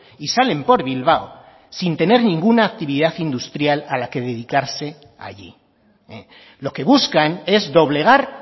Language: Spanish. y salen por bilbao sin tener ninguna actividad industrial a la que dedicarse allí lo que buscan es doblegar